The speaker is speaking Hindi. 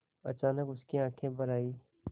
अचानक उसकी आँखें भर आईं